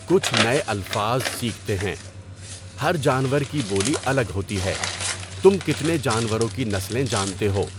کچھ نئے الفاظ سیکھتے ہیں۔ ہر جانور کی بولی الگ ہوتی ہے، تُم کتنے جانوروں کی نسلیں جانتے ہو؟